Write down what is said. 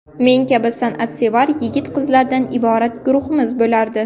Men kabi san’atsevar yigit-qizlardan iborat guruhimiz bo‘lardi.